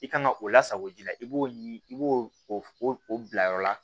I kan ka o lasago ji la i b'o ɲini i b'o o bila yɔrɔ la